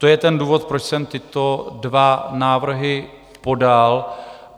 To je ten důvod, proč jsem tyto dva návrhy podal.